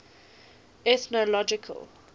ethnological